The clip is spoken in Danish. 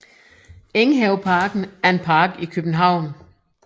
Enghaveparken er en park i København